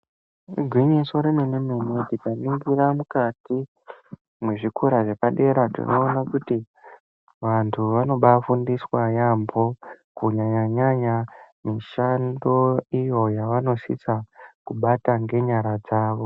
Igwinyiso remene mene tikaningira mukati mwezvikora zvepadera tinoona kuti vantu vanobafundiswa yaemho kunyanyanyanya mishando iyo yevanosisa kubata ngenyara dzavo.